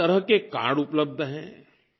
कई तरह के कार्ड उपलब्ध हैं